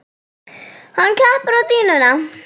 Hann klappar á dýnuna.